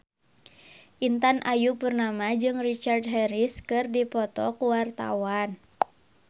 Intan Ayu Purnama jeung Richard Harris keur dipoto ku wartawan